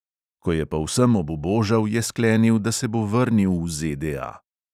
Ko je povsem obubožal, je sklenil, da se bo vrnil v ZDA.